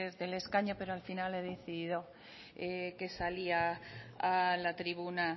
desde el escaño pero al final he decidido que salía a la tribuna